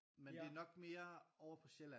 Men det er nok mere ovre på Sjælland